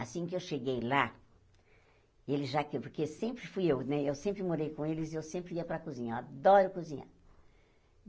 Assim que eu cheguei lá, ele já porque fui eu né eu sempre morei com eles e eu sempre ia para a cozinha, eu adoro cozinhar.